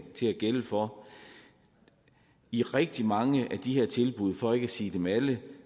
skal gælde for i rigtig mange af de her tilbud for ikke at sige dem alle